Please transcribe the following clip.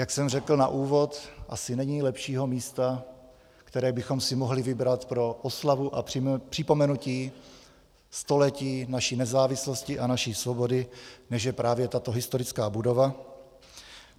Jak jsem řekl na úvod, asi není lepšího místa, které bychom si mohli vybrat pro oslavu a připomenutí století naší nezávislosti a naší svobody, než je právě tato historická budova.